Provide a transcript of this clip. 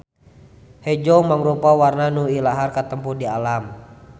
Hejo mangrupa warna nu ilahar katempo di alam.